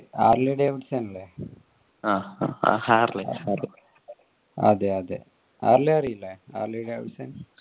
Harley Davidson ഇല്ലേ. Harley അറിയില്ലേ Harley Davidson